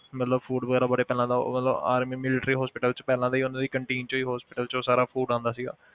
ਮਤਲਬ food ਵਗ਼ੈਰਾ ਬੜੇ ਪਹਿਲਾਂ ਦਾ ਮਤਲਬ army military hospital 'ਚ ਪਹਿਲਾਂ ਤੋਂ ਹੀ ਉਹਨਾਂ ਦੀ canteen ਚੋਂ ਹੀ hospital 'ਚ ਸਾਰਾ food ਆਉਂਦਾ ਸੀ